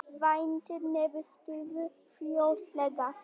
Væntir niðurstöðu fljótlega